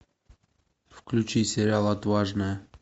включи сериал отважная